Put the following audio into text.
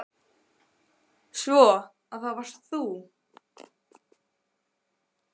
Svo. að það varst þá þú?